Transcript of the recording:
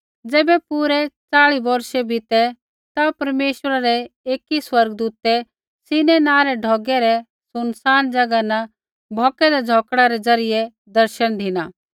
ज़ैबै पूरै च़ाली बौर्षा बीती ता परमेश्वरा रै एकी स्वर्गदूतै सीनै नाँ रै ढौगै रै सुनसान ज़ैगा न भौकदै झ़ौकड़ै रै ज़रियै दर्शन धिना